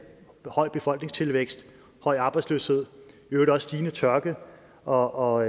høj befolkningstilvækst høj arbejdsløshed i øvrigt også stigende tørke og og